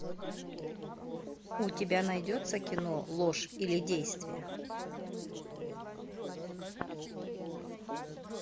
у тебя найдется кино ложь или действие